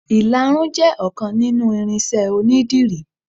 Ìlarun jẹ ọkan nínú irinṣẹ́ onidírì.